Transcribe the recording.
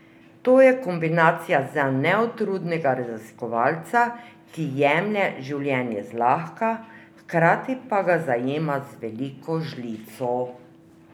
To je kombinacija za neutrudnega raziskovalca, ki jemlje življenje zlahka, hkrati pa ga zajema z veliko žlico.